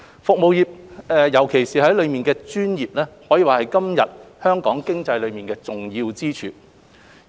服務業，尤其是當中的專業服務，可以說是今日香港經濟的重要支柱。